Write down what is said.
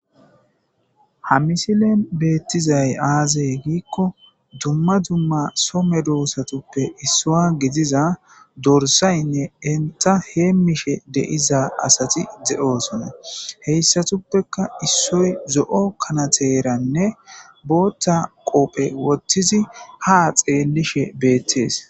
Ha misilen beettizay aazey giikko dumma dumma some doosatuppe issua gidiza dorsaynne inta heemishe deiza asati de7oosonna heyssatuppeka issoy zo'o kanateeranne bootta qoophe wottizi ha xeellishe beettees.